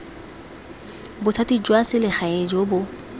bothati jwa selegae jo bo